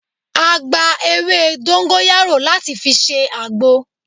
A gba ewé dóńgóyárò láti fi ṣe àgbo